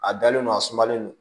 A dalen don a sumalen don